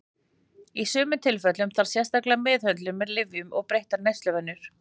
Í sumum tilfellum þarf sérstaka meðhöndlun með lyfjum eða breyttar neysluvenjur.